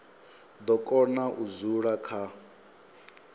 do kona u dzula kha